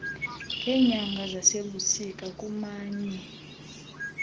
ngeenyanga zasebusika kumanye